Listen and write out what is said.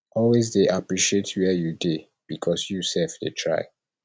always de appreciate where you dey because you self de try